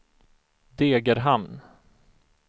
Degerhamn